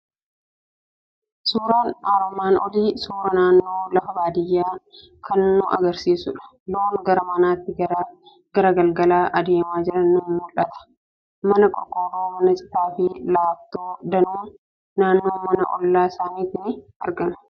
Suuraan armaan olii suuraa naannoo lafa baadiyyaa kan nu argisiisudha. Loon gara manaatti gara galgalaa adeemaa jiran ni mul'atu. Mana qorqorroo, mana citaa fi laaftoo danuun naannoo mana ollaa sanaatti ni argamu.